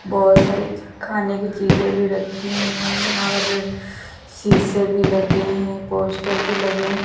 बहोत सारी खाने की चीजे भी रखी है और शीशे भी लगे हैं पोस्टर भी लगे हैं।